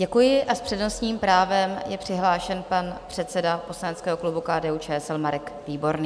Děkuji a s přednostním právem je přihlášen pan předseda poslaneckého klubu KDU-ČSL Marek Výborný.